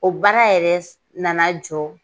O baara yɛrɛ nana jɔ